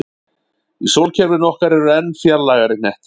Í sólkerfinu okkar eru enn fjarlægari hnettir.